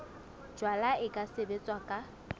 jalwa e ka sebetswa ka